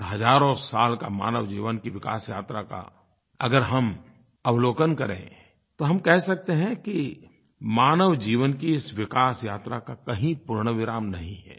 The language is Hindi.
और हज़ारों साल की मानव जीवन की विकास यात्रा का अगर हम अवलोकन करें तो हम कह सकते हैं कि मानव जीवन की इस विकास यात्रा का कहीं पूर्णविराम नहीं है